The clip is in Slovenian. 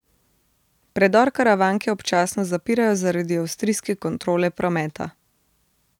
Predor Karavanke občasno zapirajo zaradi avstrijske kontrole prometa.